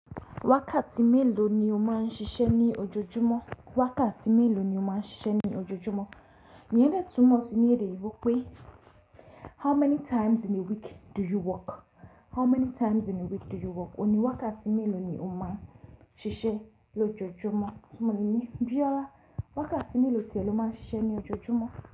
Wákàtí mélòó ni o máa ń ṣiṣẹ́ ní ojoojúmọ́? Wákàtí mélòó ni o máa ń ṣiṣẹ́ ní ojoojúmọ́? Iyen de túmọ̀ sí ní èdè yinbò pé how many times in a week do you work? How many times in a week do you work? Ó ní wákàtí mélòó ni o máa ń ṣiṣẹ́ lójoojúmọ́? Túmọ̀ níyen Biolá, wákàtí mélòó ti ẹ lọ máa ń ṣiṣẹ́ ní ojoojúmọ́?